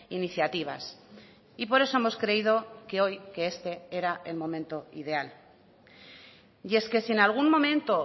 iniciativas y por eso hemos creído que hoy que este era el momento ideal y es que si en algún momento